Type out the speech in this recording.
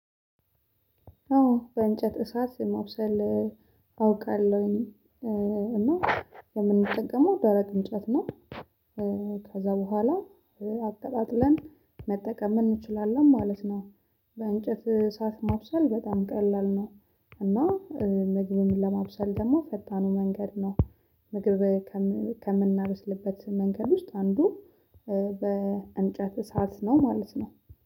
አዎ በእንጨት እሳት ማብሰል አውቃለሁኝ እና የምንጠቀመው ደረቅ እንጨት ነው። ከዛ በኋላ አቀጣጥለን መጠቀም እንችላለን ማለት ነው። በእንጨት እሳት ማብሰል በጣም ቀላል ነው። እና ምግብም ለማብሰል ደግሞ ፈጣኑ መንገድ ነው። ምግብ ከምናበስልበት መንገድ ውስጥ አንዱ በእንጨት እሳት ነው ማለት ነው